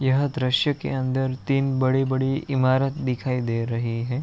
यह दृश्य के अंदर तीन बड़ी-बड़ी ईमारत दिखाई दे रही है।